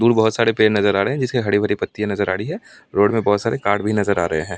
दूर बहुत सारे पेड़ नजर आ रहे हैं जिस की हरी भरी पत्ती नजर आ रही है रोड में बहुत सारे कार्ड भी नजर आ रहे हैं।